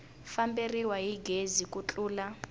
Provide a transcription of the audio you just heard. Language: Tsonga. famberiwa hi gezi ku tlula